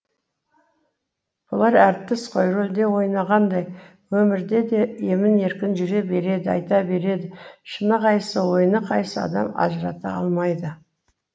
бұлар әртіс қой рөлде ойнағандай өмірде де емін еркін жүре береді айта береді шыны қайсы ойыны қайсы адам ажырата алмайды